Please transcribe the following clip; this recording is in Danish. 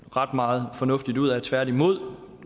ret meget fornuftigt ud af tværtimod